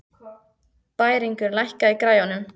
Bæringur, lækkaðu í græjunum.